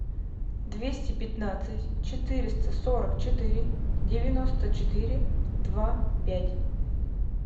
двести пятнадцать четыреста сорок четыре девяносто четыре два пять